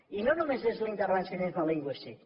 i no només és l’intervencionisme lingüístic